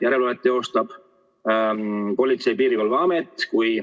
Järelevalvet teostab Politsei- ja Piirivalveamet.